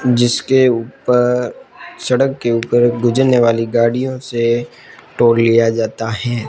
जिसके ऊपर सड़क के ऊपर गुजरने वाली गाड़ियों से टोल लिया जाता है।